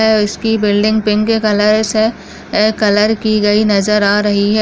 ऐ उसकी building pink colour से ऐ कलर की गई नज़र आ रही है।